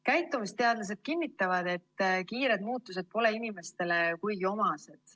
Käitumisteadlased kinnitavad, et kiired muutused pole inimestele kuigi omased.